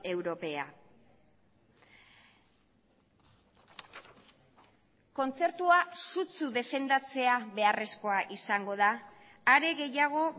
europea kontzertua sutsu defendatzea beharrezkoa izango da are gehiago